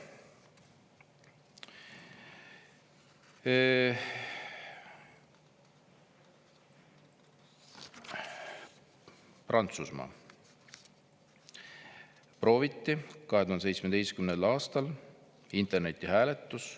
Prantsusmaal prooviti 2017. aastal internetihääletust.